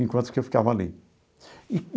Enquanto que eu ficava ali.